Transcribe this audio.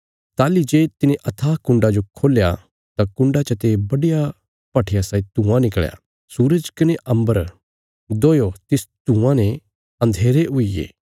ताहली जे तिने अथाह कुण्डा जो खोल्या तां कुण्डा चते बड्डिया भट्ठिया साई धुआँ निकल़या सूरज कने अम्बर दोयो तिस धुआँ ने अन्धेरे हुईगे